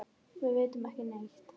Við vitum ekki neitt.